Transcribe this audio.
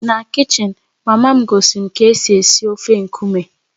Na kichin, mama m gosiri m ka esi esi ofe nkume